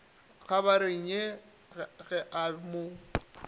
kgabagareng ya ge a mo